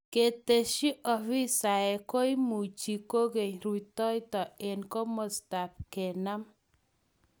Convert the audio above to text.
Katesyi ofisaek "koimuchi koken rutoito eng komastab kenam"